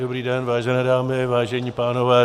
Dobrý den, vážené dámy, vážení pánové.